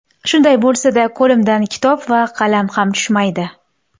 Shunday bo‘lsa-da, qo‘limdan kitob va qalam ham tushmaydi.